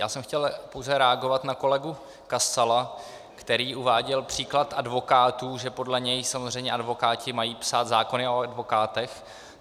Já jsem chtěl pouze reagovat na kolegu Kasala, který uváděl případ advokátů, že podle něj samozřejmě advokáti mají psát zákony o advokátech.